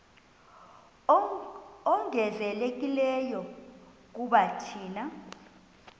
ongezelelekileyo kuba thina